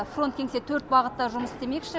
фронт кеңсе төрт бағытта жұмыс істемекші